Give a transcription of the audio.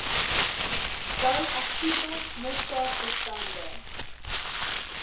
bou aktiewe misdaadbestande